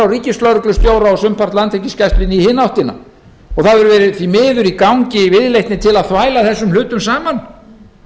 ríkislögreglustjóra og sumpart landhelgisgæslunni í hina áttina því miður hefur verið í gangi viðleitni til að þvæla þessum hlutum saman